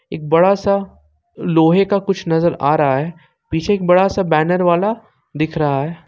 एक बड़ा सा लोहे का कुछ नजर आ रहा है पीछे एक बड़ा सा बैनर वाला दिख रहा है।